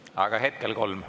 Aga hetkel kolm.